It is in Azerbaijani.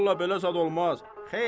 Vallah belə zad olmaz.